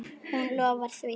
Hún lofar því.